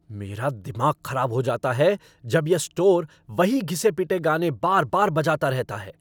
मेरा दिमाग खराब हो जाता है जब यह स्टोर वही घिसे पिटे गाने बार बार बजाता रहता है।